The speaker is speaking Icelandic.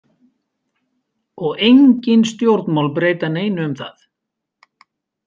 Og engin stjórnmál breyta neinu um það.